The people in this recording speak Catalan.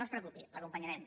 no es preocupi l’acompanyarem